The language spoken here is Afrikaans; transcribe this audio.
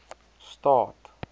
staad